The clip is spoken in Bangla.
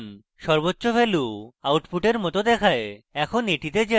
সর্বোচ্চ value output মত দেখায় এখন এটিতে যাই